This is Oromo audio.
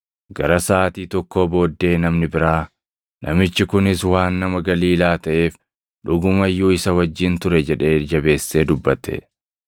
Gara Saʼaatii tokkoo booddee namni biraa, “Namichi kunis waan nama Galiilaa taʼeef dhuguma iyyuu isa wajjin ture” jedhee jabeessee dubbate.